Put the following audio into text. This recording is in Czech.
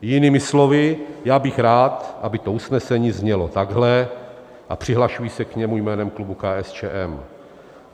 Jinými slovy, já bych rád, aby to usnesení znělo takhle a přihlašuji se k němu jménem klubu KSČM.